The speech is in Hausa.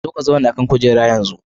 Zo ka zauna a kan kujera yanzu.